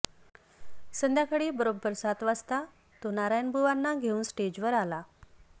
संध्याकाळी बरोबर सात वाजता तो नारायणबुवांना घेऊन स्टेजवर आला